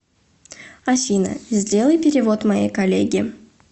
афина сделай перевод моей коллеге